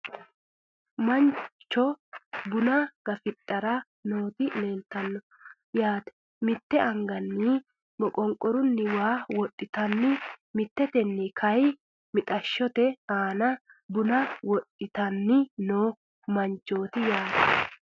Manchu buna gafidhara nooti leeltanno yaate mitte angasenni maqonqorunni waa wodhitanni mitteteni kayii mixashote aana buna gafidhanni noo manchooti yaate